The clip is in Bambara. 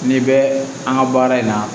N'i bɛ an ka baara in na